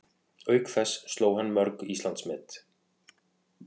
Auk þess sló hann mörg Íslandsmet